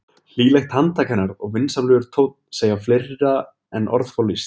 Hlýlegt handtak hennar og vinsamlegur tónn segja fleira en orð fá lýst.